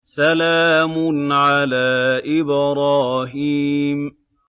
سَلَامٌ عَلَىٰ إِبْرَاهِيمَ